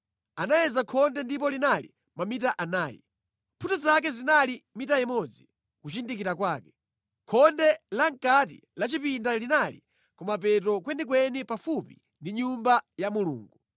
Anayeza khonde ndipo linali mamita anayi. Mphuthu zake zinali mita imodzi kuchindikira kwake. Khonde lamʼkati lapachipata linali kumapeto kwenikweni pafupi ndi Nyumba ya Mulungu.